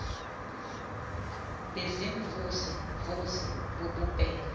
baziimvuze mvuze bububele